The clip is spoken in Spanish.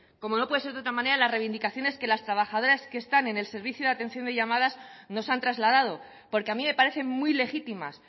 como no puede ser de otra manera las reivindicaciones de las trabajadoras que están en el servicio de atención de llamadas nos han trasladado porque a mí me parecen muy legítimas